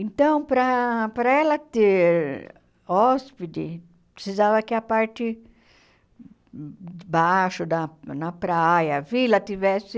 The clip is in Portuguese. Então, para para ela ter hóspede, precisava que a parte de baixo, da na praia, a vila, tivesse...